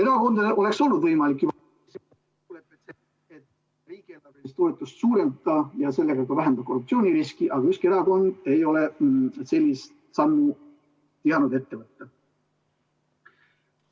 Erakondadel oleks olnud võimalik juba ...... et riigieelarvelist toetust suurendada ja sellega ka vähendada korruptsiooniriski, aga ükski erakond ei ole sellist sammu tihanud ette võtta.